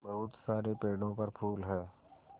बहुत सारे पेड़ों पर फूल है